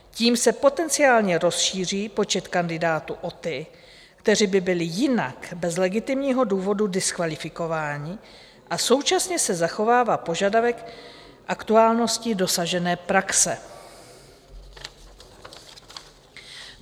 Tím se potenciálně rozšíří počet kandidátů o ty, kteří by byli jinak bez legitimního důvodu diskvalifikováni, a současně se zachovává požadavek aktuálnosti dosažené praxe.